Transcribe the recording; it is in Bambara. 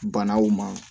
Banaw ma